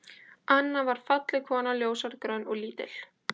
Anna var falleg kona, ljóshærð, grönn og lítil.